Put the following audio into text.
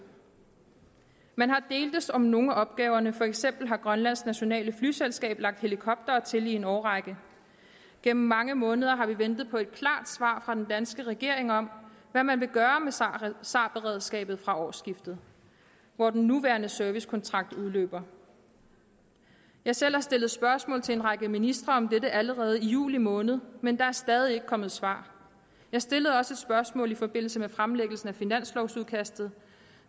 man har deltes om nogle af opgaverne for eksempel har grønlands nationale flyselskab lagt helikoptere til i en årrække gennem mange måneder har vi ventet på et klart svar fra den danske regering om hvad man vil gøre med sar sar beredskabet fra årsskiftet hvor den nuværende servicekontrakt udløber jeg selv har stillet spørgsmål til en række ministre om dette allerede i juli måned men der er stadig ikke kommet svar jeg stillede også et spørgsmål i forbindelse med fremlæggelsen af finanslovudkastet